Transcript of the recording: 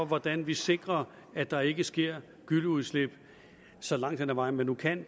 hvordan vi sikrer at der ikke sker gylleudslip så langt hen ad vejen man nu kan